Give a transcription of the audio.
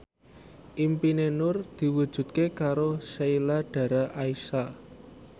impine Nur diwujudke karo Sheila Dara Aisha